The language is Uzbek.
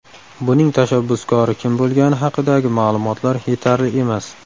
Buning tashabbuskori kim bo‘lgani haqidagi ma’lumotlar yetarli emas.